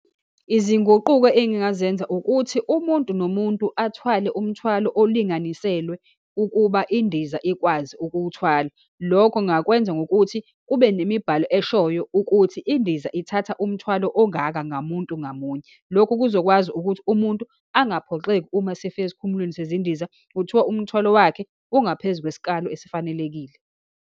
Izinguquko engingazenza, ukuthi umuntu nomuntu athwale umthwalo olinganiselwe ukuba indiza ikwazi ukuwuthwala. Lokho ngingakwenza ngokuthi, kube nemibhalo eshoyo ukuthi indiza ithatha umthwalo ongaka ngamuntu ngamunye. Lokhu kuzokwazi ukuthi umuntu angaphoxeki uma esifika esikhumulweni sezindiza, kuthiwa umthwalo wakhe kungaphezu kwesikalo esifanelekile.